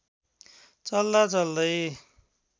चल्दा चल्दै